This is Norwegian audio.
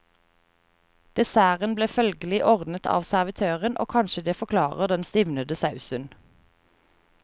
Desserten ble følgelig ordnet av servitøren, og kanskje det forklarer den stivnede sausen.